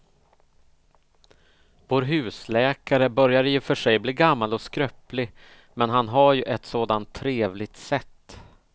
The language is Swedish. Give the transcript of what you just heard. Vår husläkare börjar i och för sig bli gammal och skröplig, men han har ju ett sådant trevligt sätt!